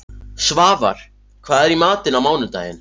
Svafar, hvað er í matinn á mánudaginn?